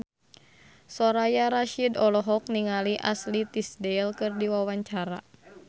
Soraya Rasyid olohok ningali Ashley Tisdale keur diwawancara